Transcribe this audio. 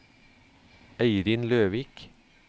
Eirin Løvik